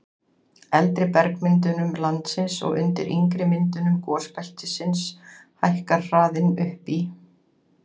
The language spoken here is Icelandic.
eldri bergmyndunum landsins og undir yngri myndunum gosbeltisins hækkar hraðinn upp í